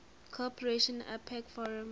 cooperation apec forum